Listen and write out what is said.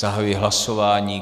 Zahajuji hlasování.